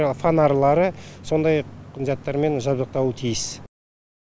фонарлары сондай заттармен жабдықталуы тиіс